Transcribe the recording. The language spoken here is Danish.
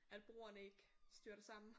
At broerne ikke styrter sammen